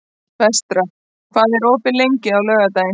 Vestar, hvað er opið lengi á laugardaginn?